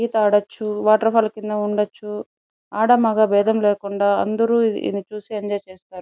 ఈత ఆడొచ్చు waterfall కింద ఉండొచ్చు ఆడ మగ బేధం లేకుండా అందరూ ఇది చూసి ఎంజాయ్ చేస్తారు.